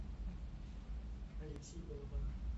алексей балабанов